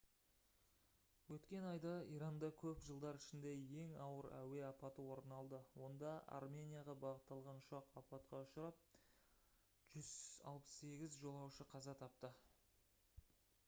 өткен айда иранда көп жылдар ішіндегі ең ауыр әуе апаты орын алды онда арменияға бағытталған ұшақ апатқа ұшырап 168 жолаушы қаза тапты